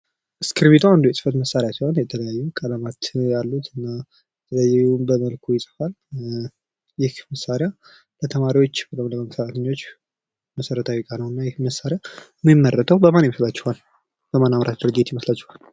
አስክርቢቶ አንድ የትፈት መሳሪያ ሲሆን የተለያዩ ከለማት ያሉት አና አንዲሁም ሁሉን በመልኩ ይትፋል ዪህ መሳሪያ በተማሪዎች በ ፈረንጆች መሰረታዊ እቃ ነው ዪሄ መሳሪያ። እና ይህ መሳሪያ ሚመረተው በማን ይመስላችኋሃል በማን ኣምራች ድርጅት ይመስላችኋል?